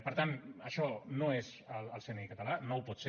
per tant això no és el cni català no ho pot ser